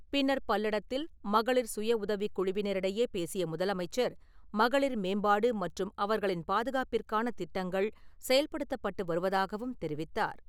பின்னர் பல்லடத்தில் மகளிர் சுயஉதவிக் குழுவினரிடையே பேசிய முதலமைச்சர், மகளிர் மேம்பாடு மற்றும் அவர்களின் பாதுகாப்பிற்கான திட்டங்கள் செயல்படுத்தப்பட்டு வருவதாகவும் தெரிவித்தார் .